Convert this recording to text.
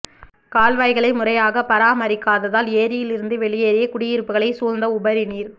கால்வாய்களை முறையாக பராமரிக்காததால் ஏரியில் இருந்து வெளியேறி குடியிருப்புகளை சூழ்ந்த உபரிநீர்